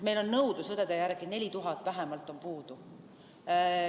Meil on nõudlus õdede järele, vähemalt 4000 on puudu.